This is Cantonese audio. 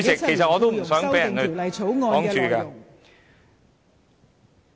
其實我也不想被人阻礙我的發言。